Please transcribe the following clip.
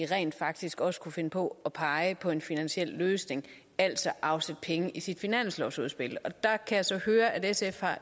rent faktisk også kunne finde på at pege på en finansiel løsning altså afsætte penge i sit finanslovsudspil og jeg kan så høre at sf